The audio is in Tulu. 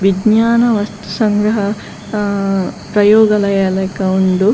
ವಿಜ್ನಾನ ವಸ್ತು ಸಂಗ್ರಹ ಆ ಪ್ರಯೋಗಲಯ ಲಕ ಉಂಡು.